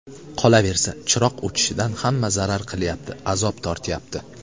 Qolaversa, chiroq o‘chishidan hamma zarar qilyapti, azob tortyapti.